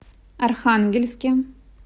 архангельске